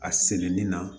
A selen ni na